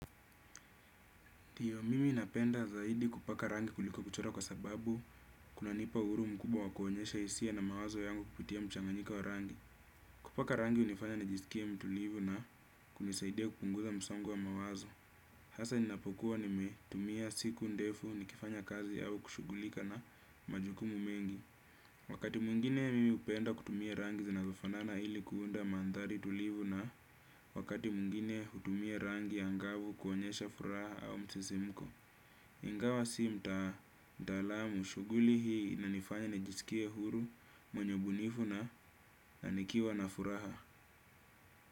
Ndiyo, mimi napenda zaidi kupaka rangi kuliko kuchora kwa sababu kunanipa uhuru mkubwa wa kuonyesha hisia na mawazo yangu kupitia mchanganyiko wa rangi. Kupaka rangi hunifanya nijisikie mtulivu na kunisaidia kupunguza msongo wa mawazo. Hasa ninapokuwa nimetumia siku ndefu nikifanya kazi yao kushugulika na majukumu mengi. Wakati mwingine mimi hupenda kutumia rangi zinazofanana ili kuunda mandhari tulivu na wakati mwingine hutumia rangi angavu kuonyesha furaha au msisimuko. Ingawa si mtaalamu shuguli hii inanifanya nijisikie huru mwenye ubunifu na nikiwa na furaha.